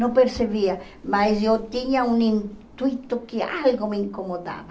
Não percebia, mas eu tinha um intuito que algo me incomodava.